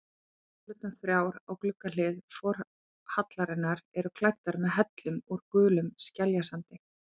Súlurnar þrjár á gluggahlið forhallarinnar eru klæddar með hellum úr gulum skeljasandi.